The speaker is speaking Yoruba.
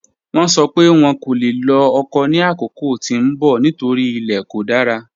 Wọ́n sọ́ pé wọ́n kò le lọ́ ọkọ̀ ni akókò tí n bọ̀ nítorí ilẹ̀ kò dára.